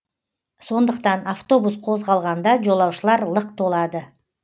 сондықтан автобус қозғалғанда жолаушылар лық толады